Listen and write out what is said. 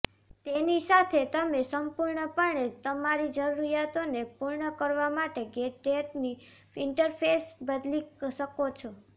તેની સાથે તમે સંપૂર્ણપણે તમારી જરૂરિયાતોને પૂર્ણ કરવા માટે ગેજેટ્સની ઈન્ટરફેસ બદલી શકો છો